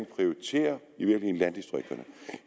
prioriterer landdistrikterne